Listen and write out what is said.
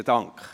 Besten Dank.